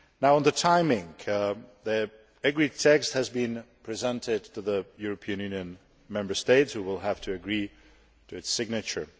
On the timing, the agreed text has been presented to the European Union Member States which will have to agree to its signature.